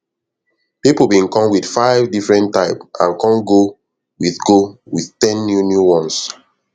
people bin come with five different type and com go with go with ten new new ones